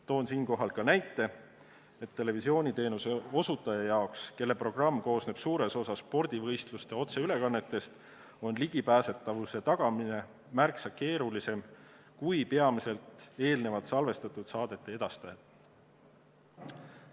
Toon siinkohal näite, et televisiooniteenuse osutajal, kelle programm koosneb suures osas spordivõistluste otseülekannetest, on ligipääsetavust tagada märksa keerulisem kui peamiselt eelnevalt salvestatud saadete edastajal.